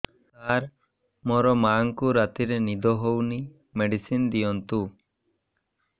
ସାର ମୋର ମାଆଙ୍କୁ ରାତିରେ ନିଦ ହଉନି ମେଡିସିନ ଦିଅନ୍ତୁ